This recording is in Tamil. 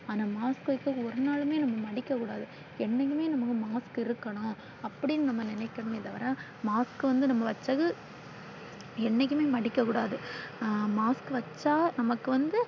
ஆனா mask வச்சு ஒரு நாளுமே நாம மடிக்க கூடாது. என்னைக்குமே நமக்கு mask இருக்கணும் அப்படின்னு நாம நினைக்கணுமே தவிர mask வந்து நாம வச்சது என்னைக்குமே மடிக்க கூடாது. mask வச்சா நமக்கு வந்து.